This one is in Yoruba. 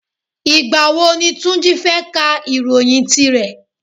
Ìgbà wo ni Túnjí fẹ́ ká ìròyìn tí rẹ̀?